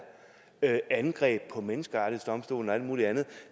angreb på menneskerettighedsdomstolen og alt muligt andet